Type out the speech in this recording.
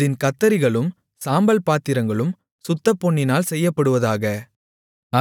அதின் கத்தரிகளும் சாம்பல் பாத்திரங்களும் சுத்தப்பொன்னினால் செய்யப்படுவதாக